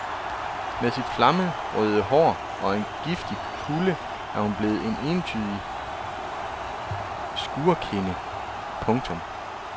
Med sit flammerøde hår og en giftig kulde er hun blevet en entydig skurkinde. punktum